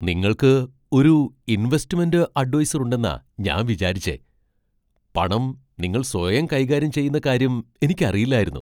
നിങ്ങൾക്ക് ഒരു investment adviser ഉണ്ടെന്നാ ഞാൻ വിചാരിച്ചെ, പണം നിങ്ങൾ സ്വയം കൈകാര്യം ചെയ്യുന്ന കാര്യം എനിക്കറിയില്ലായിരുന്നു .